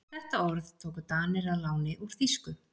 Þetta orð tóku Danir að láni úr þýsku.